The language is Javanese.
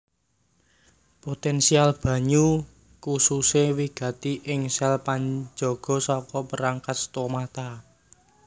Potensial banyu kususe wigati ing sel panjaga saka perangkat stomata